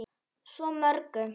Svo mörgu.